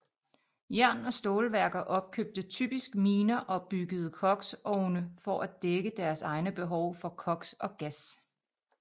Jern og stålværker opkøbte typisk miner og byggede koks ovne for at dække deres egne behov for koks og gas